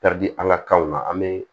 di an ka kanw na an be